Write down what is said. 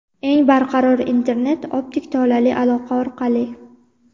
Eng barqaror internet – optik tolali aloqa orqali.